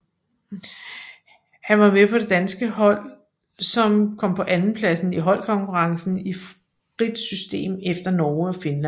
Han var med på det danske hold som kom på andenpladsen i holdkonkurrencen i frit system efter Norge og Finland